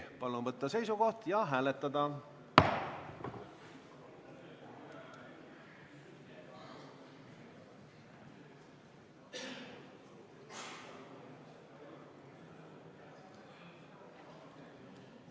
Palun võtta seisukoht ja hääletada!